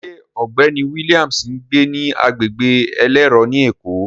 Ṣé ọ̀gbẹ́ni Williams ń gbé ní agbègbè elérò ni Èkó?